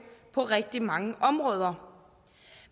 på rigtig mange områder